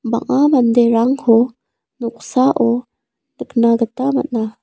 bang·a manderangko noksao nikna gita man·a.